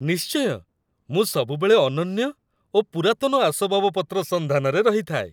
ନିଶ୍ଚୟ! ମୁଁ ସବୁବେଳେ ଅନନ୍ୟ ଓ ପୁରାତନ ଆସବାବପତ୍ର ସନ୍ଧାନରେ ରହିଥାଏ।